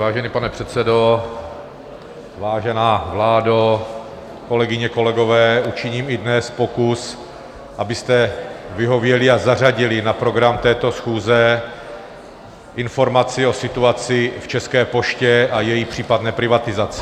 Vážený pane předsedo, vážená vládo, kolegyně, kolegové, učiním i dnes pokus, abyste vyhověli a zařadili na program této schůze informaci o situaci v České poště a její případné privatizaci.